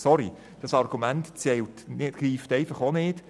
Sorry, aber auch dieses Argument greift einfach nicht.